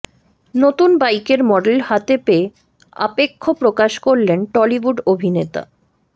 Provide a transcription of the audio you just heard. নতুন বাইকের মডেল হাতে পেয়ে আপেক্ষ প্রকাশ করলেন টলিউড অভিনেতা